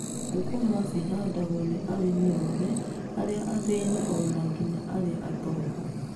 Thũkũma ci handagwo ni arĩmi othe, arĩa athĩĩni o na nginya arĩa atongu.